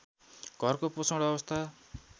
घरको पोषण अवस्था